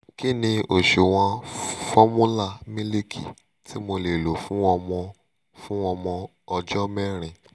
kí ni òṣùwọ̀n fọ́múlà mílìkì tí mo lè lò fún ọmọ fún ọmọ ọjọ́ mẹ́rin?